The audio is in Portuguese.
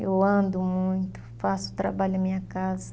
Eu ando muito, faço trabalho em minha casa.